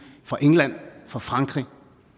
fra england fra frankrig